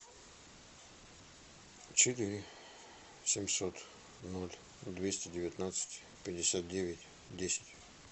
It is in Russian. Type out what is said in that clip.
четыре семьсот ноль двести девятнадцать пятьдесят девять десять